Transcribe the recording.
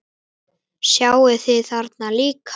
Sjáið þið þarna líka?